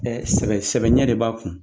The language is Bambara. sɛbɛ sɛbɛ ɲɛ de b'a kun.